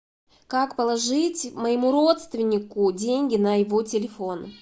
как положить моему родственнику деньги на его телефон